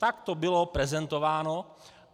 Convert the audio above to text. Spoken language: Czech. Tak to bylo prezentováno.